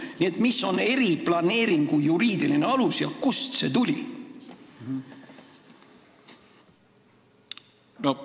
Nii et mis on eriplaneeringu juriidiline alus ja kust see tuli?